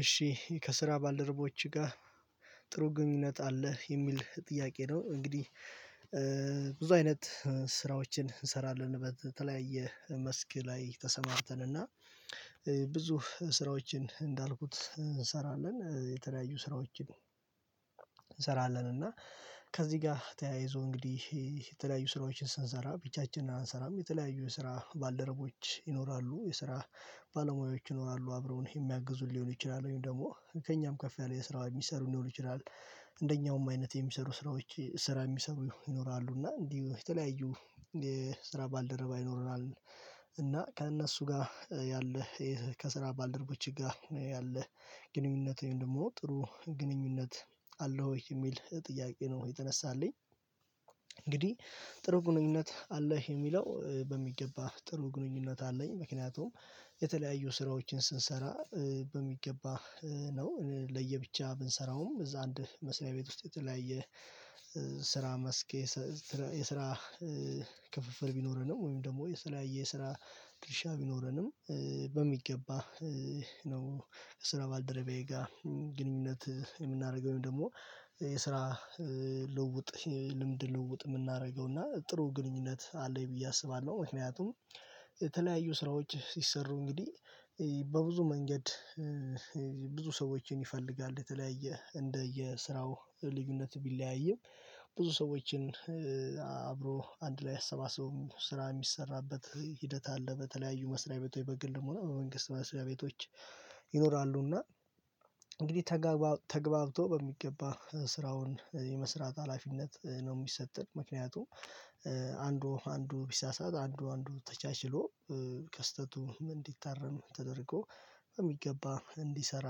እሺ ከስራ ባልደረቦችህ ጋር ጥሩ ግንኙነት አለህ? የሚል ጥያቄ ነው እንግዲህ ብዙ አይነት ስራዎችን እንሰራለን በተለያየ መስክ ላይ ተሰማርተንና ብዙ ስራዎችን እንዳልኩት እንሰራለን፤ የተለያዩ ስራዎችን እንሰራለን እና ከዚህ ጋር ተያይዞ፤ እንግዲህ የተለያዩ ስራዎችን ስንሰራ አንሰራም የተለያዩ የስራ ባልደረቦች ይኖራሉ፤ የስራ ባልሞያዎች ይኖራሉ፤ አብረውኝ የሚያግዙኝ ሊሆን ይችላሉ ወይም ደግሞ ከእኛም ከፍ ያለ የስራ የሚሰሩ ሊሆን ይችላል፤ እንደኛውም አይነት የሚሰሩ ስራዎች ስራ የሚሰሩ ይኖራሉ። እና እንዲሁ የተለያዩ የስራ ባልደረባ ይኖረናል፤ እና ከእነሱ ጋር ያለህ ከስራ ባልደርቦችህ ጋር ያለህ ግንኙነት ወይም ደግሞ ጥሩ ግንኙነት አለው ወይ? የሚል ጥያቄ ነው የተነሳልኝ እንግዲህ ጥሩ ግንኙነት አለው የሚለው በሚገባ ጥሩ ግንኙነት አለኝ። ምክንያቱም የተለያዩ ስራዎችን ስንሰራ፤ በሚገባ ነው ለየብቻ ብንሰራውም፤ እዛ አንድ መስሪያ ቤት ውስጥ የተለያየ ስራ መስክ የስራ ክፍፍል ቢኖረንም፤ ወይም ደግሞ የሰለያየ የስራ ድርሻ ቢኖረንም፤ በሚገባ ነው ከስራ ባልደረባዬ ጋር ግንኙነት የምናደርገው፤ ደግሞ የስራ ልዉውጥ ልምድ ልዉውጥ የምናደርገው፤ እና ጥሩ ግንኙነት አለኝ ብዬ አስባለሁ። ምክንያቱም የተለያዩ ስራዎች ሲሰሩ እንግዲህ በብዙ መንገድ ብዙ ሰዎችን ይፈልጋል፤ የተለያየ እንደ የስራው ልዩነት ቢለያይም፤ ብዙ ሰዎችን አብሮ አንድ ላይ አሰባስቦ ስራ የሚሰራበት ሂደት አለ፤ በተለያዩ መስሪያ ቤት ወይ በግልም ሆነ፤ በመንግስት መስሪያ ቤቶች ይኖራሉና እንግዲህ ተገባብቶ በሚገባ ስራውን የመስራት ሀላፊነት ነው የሚሰጥን። ምክንያቱም አንዱ አንዱ ቢሳሳት አንዱ አንዱን ተቻችሎ ከስተቱ እንዲታረም ተደርጎ በሚገባ እንዲሰራ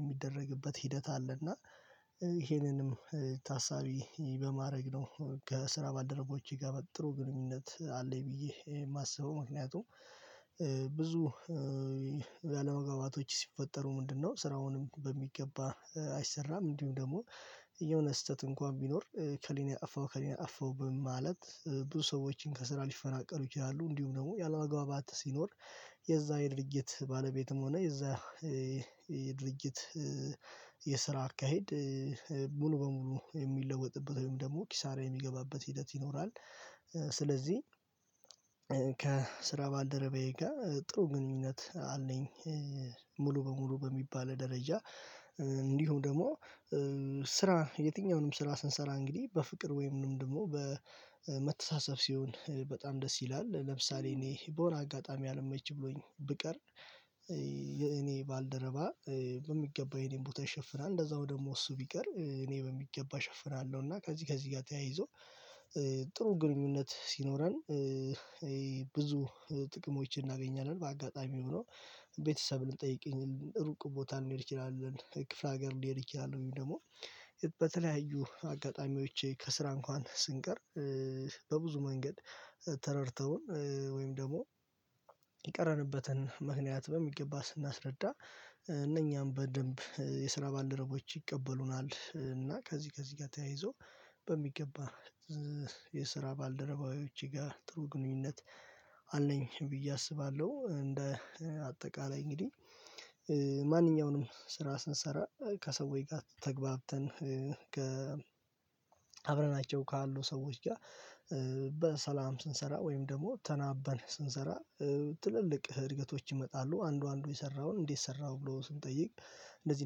የሚደረግበት ሂደት አለ። እና ይሄንንም ታሳቢ በማድረግ ነው ከስራ ባልደረቦቼ ጋር ጥሩ ግንኙነት አለኝ ብዬ የማስበው። ምክንያቱም ብዙ ያለመግባባቶች ሲፈጠሩ ምንድነው ስራውም በሚገባ አይሰራም፤ እንዲሁም ደግሞ የሆነ ስህተት እንኳን ቢኖር ኤከሌ ነው ያጠፈው ኤከሌ ነው ያጠፈው በማለት ብዙ ሰዎችም ከስራ ሊፈናቀሉ ይችላሉ። እንዲሁ ደግሞ ያለምግባባት ሲኖር፤ የዛ የድርጅት ባለቤትም ሆነ፤ የዛ የድርጅት የስራ አካሄድ ሙሉ በሙሉ የሚለወጥበት፤ ወይም ደግሞ ኪሳራ የሚገባበት ሂደት ይኖራል። ስለዚህ ከስራ ባልደረበዬ ጋር ጥሩ ግንኙነት አለኝ። ሙሉ በሙሉ በሚባል ደረጃ፤ እንዲሁ ደግሞ የትኛውንም ስራ ስንሰራ፤ እንግዲህ በፍቅር ወይም ደግሞ በመተሳሰብ ሲሆን፤ በጣም ደስ ይላል ለምሳሌ እኔ በሆነ አጋጣሚ አልመች ብሎኝ ብቀር፤ የእኔ ባልደረባ በሚገባ የኔን ቦታ ይሸፍናል፤ እንደዛውም ደግሞ እሱ ቢቀር እኔ በሚገባ ሽፍናለሁ እና ከዚህ ከዚህ ጋር ተያይዞ፤ ጥሩ ግንኙነት ሲኖረን ብዙ ጥቅሞችን እናገኛለን፤ በአጋጣሚው ቤተሰብን ልንጠይቅ፤ ሩቅ ቦታ ልንሄድ እንችላለን፤ ክፍለ ሀገር ልንሄድ እንችላለን፤ ወይም ደግሞ በተለያዩ አጋጣሚዎች ከስራ እንኳን ስንቀር፤ በብዙ መንገድ ተረድቶን፤ ወይም ደግሞ የቀረንበትን ምክንያት በሚገባ ስናስረዳ፤ እነኛም በደንብ የስራ ባልደረቦች ይቀበሉናል፤ እና ከዚህ ከዚህ ጋር ተያይዞ፤ በሚገባ የስራ ባልደረባዎቼ ጋር ጥሩ ግንኙነት አለኝ ብዬ አስባለሁ። አጠቃላይ እንግዲህ ማንኛውንም ስራ ስንሰራ፤ ከሰዎች ጋር ተገብተን፤ ከ አብረናቸው ካሉ ሰዎች ጋር በሰላም ስንሰራ ወይም ደግሞ ተናበን ስንሰራ፤ ትልልቅ እድገቶች ይመጣሉ። አንዱ አንዱ የሰራውን እንዴት ሰራሁ ብሎ ስጠይቅ እንደዚህ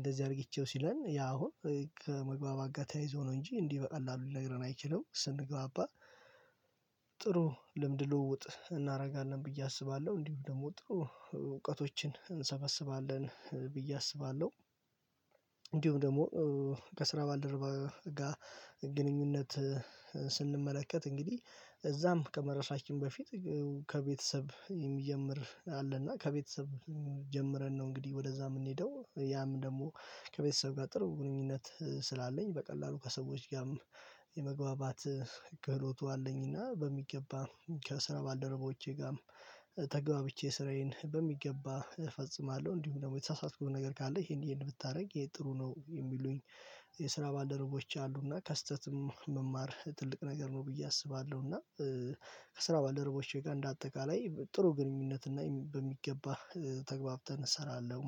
እንደዚህ አድርጊቼው ሲለን ያ አሁን ከመግባባት ጋር ተያይዞ ነው እንጂ እንዲህ በቀላሉ ሊነግረን አይችልም። ስንግባባ ጥሩ ልምድ ልውውጥ እናደርጋለን ብዬ አስባለሁ፤ እንዲሁ ደግሞ ጥሩ እውቀቶችን እንሰበስባለን ብዬ አስባለሁ። እንዲሁም ደግሞ ከስራ ባልደረባ ጋር ግንኙነት ስንመለከት፤ እንግዲህ እዛም ከመደረሳችን በፊት ከቤተሰብ የሚጀምር አለ፤ እና ከቤተሰብ ጀምረን ነው እንግዲህ ወደዛ የምንሄደው። ያም ደግሞ ከቤተሰብ ጋር ጥሩ ግንኙነት ስላለኝ፤ በቀላሉ ከሰዎች ጋርም የመግባባት ክህሎቱ አለኝና፤ በሚገባ ከስራ ባልደረቦቼ ጋርም፤ ተገባብቼ ስራዬን በሚገባ እፈጽማለሁ፤ እንዲሁ ደግሞ የተሳሳተኩት ነገር ካለ ይሄን ይሄን ብታደርግ እሄ ጥሩ ነው፤ የሚሉኝ የስራ ባልደረቦቼ አሉና ከስህተትም መማር ትልቅ ነገር ነው ብዬ አስባለሁና። ከስራ ባልደረቦቼ ጋር እንደ አጠቃላይ ጥሩ ግንኙነት እና በሚገባ ተግባብተን እሰራለሁ።